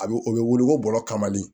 A bɛ o bɛ wili ko bɔrɔ kama de